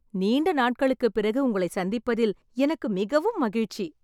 நீண்ட நாட்களுக்கு பிறகு உங்களை சந்திப்பதில் எனக்கு மிகவும் மகிழ்ச்சி.